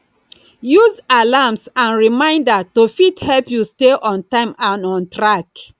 use alarms and reminder to fit help you stay on time and on track